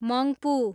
Mungpoo